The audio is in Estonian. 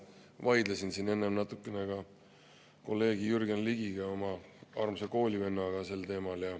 Vaidlesin siin enne natukene ka kolleeg Jürgen Ligiga, oma armsa koolivennaga, sel teemal.